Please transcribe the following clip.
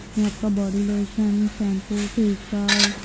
इसमें आपका body lotion shampoo face wash --